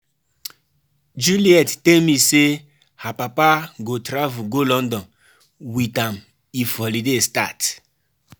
Juliet tell me say her papa go travel go London with am if holiday start